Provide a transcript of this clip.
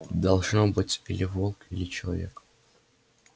должно быть или волк или человек